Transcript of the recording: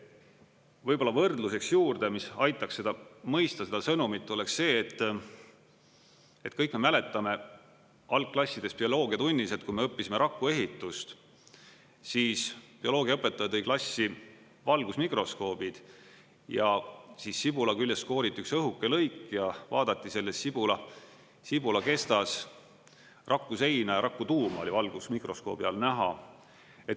Võib-olla võrdluseks juurde, mis aitaks seda mõista, seda sõnumit, oleks see, et kõik me mäletame algklassides bioloogiatunnis, et kui me õppisime rakuehitust, siis bioloogiaõpetaja tõi klassi valgusmikroskoobid ja siis sibula küljest kooriti üks õhuke lõik ja vaadati selles sibula kestas rakuseina ja rakutuum oli valgusmikroskoobi all näha.